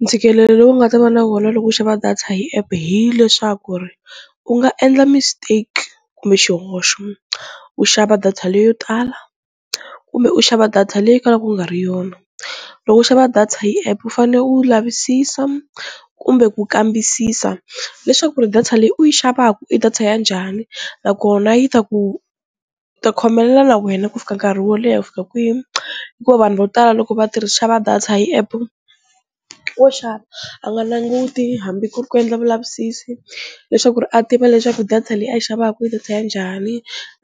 Ntshikelelo lowu nga ta va na wona loko u xava data hi app hileswaku ri u nga endla mistake kumbe xihoxo u xava data leyo tala kumbe u xava data leyi kalaka u nga ri yona, loko u xava data hi app u fanele u lavisisa kumbe ku kambisisa leswaku ri data leyi u yi xavaka i data ya njhani nakona yi ta ku ta khomelela na wena ku fika nkarhi wo leha ku fika kwini hikuva vanhu vo tala loko xava data hi app wo xava a nga nanguti hambi ku ri ku endla vulavisisi leswaku ri a tiva leswaku data leyi a yi xavaku hi data ya njhani